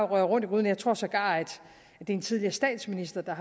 røre rundt i gryden jeg tror sågar at det er en tidligere statsminister der